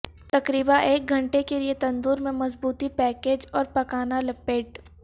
تقریبا ایک گھنٹے کے لئے تندور میں مضبوطی پیکج اور پکانا لپیٹ